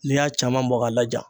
N'i y'a caman bɔ k'a laja